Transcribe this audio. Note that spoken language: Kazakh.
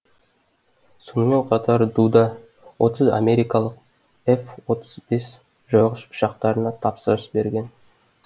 сонымен қатар дуда отыз америкалық ғ отыз бес жойғыш ұшақтарына тапсырыс берген